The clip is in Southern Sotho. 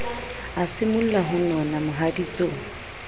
a simolla ho nona mohaditsong